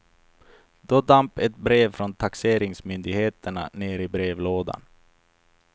Då damp ett brev från taxeringsmyndigheterna ner i brevlådan.